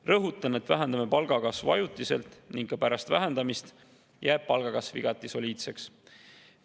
Rõhutan, et vähendame palgakasvu ajutiselt ning ka pärast vähendamist jääb palgakasv igati soliidseks.